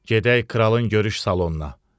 Gedək kralın görüş salonuna.